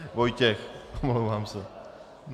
Vojtěch, omlouvám se.